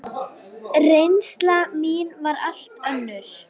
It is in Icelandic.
Reynsla mín var allt önnur.